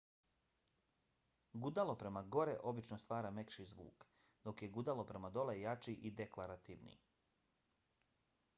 gudalo prema gore obično stvara mekši zvuk dok je gudalo prema dole jači i deklarativniji